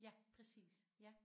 Ja præcis ja